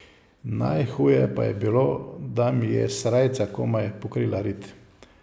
Najhuje pa je bilo, da mi je srajca komaj pokrila rit.